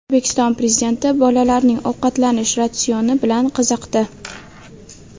O‘zbekiston Prezidenti bolalarning ovqatlanish ratsioni bilan qiziqdi.